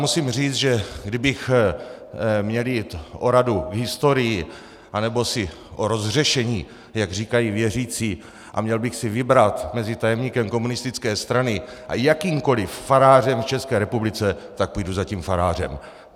Musím říct, že kdybych měl jít o radu k historii anebo si o rozhřešení, jak říkají věřící, a měl bych si vybrat mezi tajemníkem komunistické strany a jakýmkoli farářem v České republice, tak půjdu za tím farářem.